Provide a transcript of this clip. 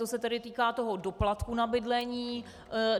To se tedy týká toho doplatku na bydlení.